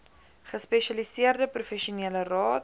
gespesialiseerde professionele raad